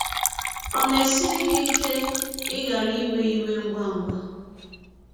Ọ̀ na - esiri gị ike ịghara ‘ iwe iwe ngwa ngwa ’?